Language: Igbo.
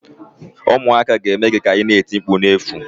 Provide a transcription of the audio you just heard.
Ụmụaka ga-eme gị ka ina eti mkpu na-efu